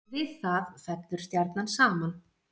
Við það fellur stjarnan saman.